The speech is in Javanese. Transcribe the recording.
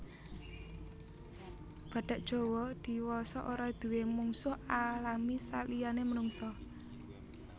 Badhak Jawa diwasa ora duwé mungsuh alami saliyané menungsa